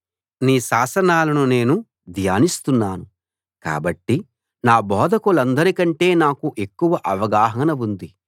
నీ శాసనాలను నేను ధ్యానిస్తున్నాను కాబట్టి నా బోధకులందరికంటే నాకు ఎక్కువ అవగాహన ఉంది